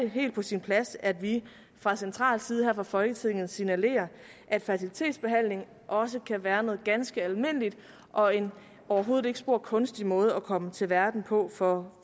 helt på sin plads at vi fra central side her fra folketingets side signalerer at fertilitetsbehandling også kan være noget ganske almindeligt og en overhovedet ikke spor kunstig måde at komme til verden på for